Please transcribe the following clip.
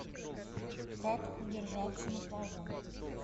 как удержаться на плаву